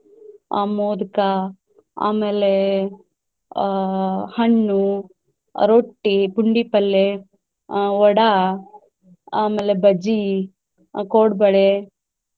ಆ ಮೊದ್ಕಾ ಆಮೇಲೆ ಆಹ್ ಹಣ್ಣು, ರೊಟ್ಟಿ, ಪುಂಡಿಪಲ್ಲೇ, ಆಹ್ ವಡಾ ಆಮೇಲೆ ಬಜಿ ಆಹ್ ಕೊಡ್ಬಳೆ.